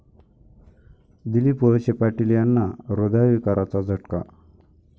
दिलीप वळसे पाटील यांना हृदयविकाराचा झटका